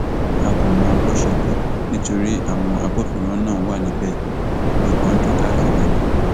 a kò mọ bó ṣe kú nítorí àwọn agbófinró náà wà níbẹ ìbọn ń dún káàkiri ni